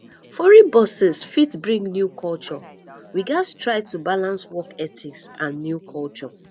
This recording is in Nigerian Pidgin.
foreign bosses fit bring new culture we gats try to balance work ethics and new culture